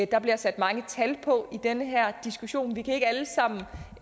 der bliver sat mange tal på i den her diskussion vi kan ikke alle sammen